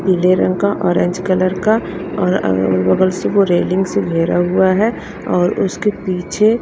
पीले रंग का ऑरेंज कलर का और अगल बगल से वो रेलिंग से घेरा हुआ है और उसके पीछे--